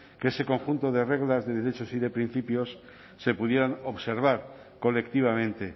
que ese conjunto de reglas de derechos y de principios se pudieran observar colectivamente